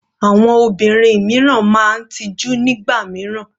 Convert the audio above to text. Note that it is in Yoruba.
Àwọn obìnrin mìíràn máa ń ti ojú nígbà mìíràn.